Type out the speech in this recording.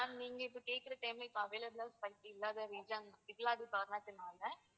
நீங்க இப்போ கேக்குற time கு available லா flight இல்லாத இல்லாத காரணத்தினால